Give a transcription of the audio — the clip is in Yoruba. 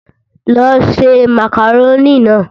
Lọ ṣe màkàrónì náà!